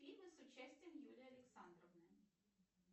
фильмы с участием юлии александровны